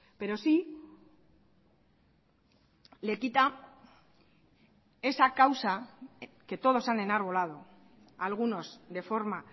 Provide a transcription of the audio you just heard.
pero sí le quita esa causa que todos han enarbolado algunos de forma